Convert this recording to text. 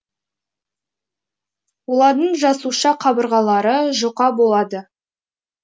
олардың жасуша қабырғалары жұқа болады